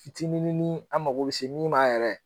Fitininini an mago bɛ se min ma yɛrɛ.